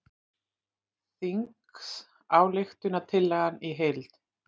Þingsályktunartillagan í heild